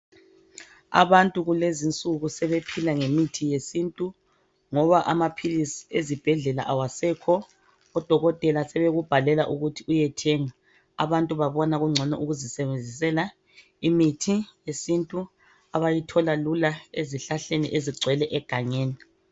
Abantu kulezinsuku sebephila ngemithi yesintu ngoba amaphilisi ezibhedlela awasekho. Odokotela sebekubhalela ukuthi uyethenga. Abantu babona kungcono ukuzisebenzisela imithi yesintu abayithola lula ezihlahleni ezigcwele egangeni.